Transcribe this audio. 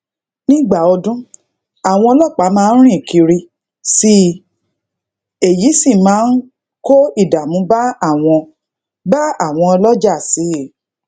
nígbà odun àwọn ọlópàá máa rin kiri sii i èyí sì máa ń kó ìdààmú ba awon ba awon oloja sii